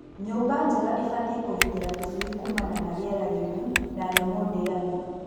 Nyũmba njega ĩbatie kũgitĩra tũcui kumana na rĩera rĩuru na nyamũ ndĩani.